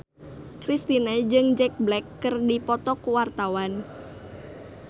Kristina jeung Jack Black keur dipoto ku wartawan